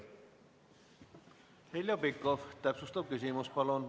Heljo Pikhof, täpsustav küsimus, palun!